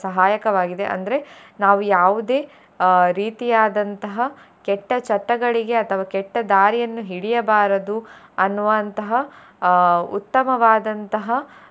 ಸಹಾಯಕವಾಗಿದೆ ಅಂದ್ರೆ ನಾವು ಯಾವುದೇ ಅಹ್ ರೀತಿಯಾದಂತಹ ಕೆಟ್ಟ ಚಟಗಳಗೆ ಅಥವಾ ಕೆಟ್ಟ ದಾರಿಯನ್ನು ಹಿಡಿಯಬಾರದು ಅನ್ನುವಂತಹ ಅಹ್ ಉತ್ತಮವಾದಂತಹ.